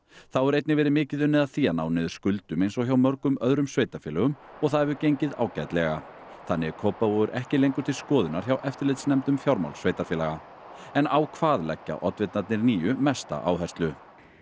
þá hefur einnig verið mikið unnið að því að ná niður skuldum eins og hjá mörgum öðrum sveitarfélögum og það hefur gengið ágætlega þannig er Kópavogur ekki lengur til skoðunar hjá eftirlitsnefnd um fjármál sveitarfélaga en á hvað leggja oddvitarnir níu mesta áherslu